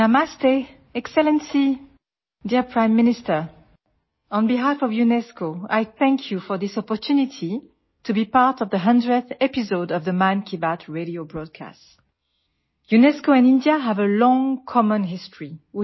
നമസ്തേ excellency പ്രിയപ്പെട്ട പ്രധാനമന്ത്രി Mann Ki Baat radio പ്രക്ഷേപണത്തിന്റെ നൂറാം എപ്പിസോഡിന്റെ ഭാഗമാകാൻ ലഭിച്ച ഈ അവസരത്തിന് യുനെസ്കോയെ പ്രതിനിധീകരിച്ച് ഞാൻ നന്ദി പറയുന്നു